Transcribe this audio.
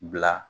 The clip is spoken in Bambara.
Bila